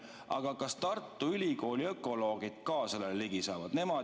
Aga kas Tartu Ülikooli ökoloogid ka sellele ligi saavad?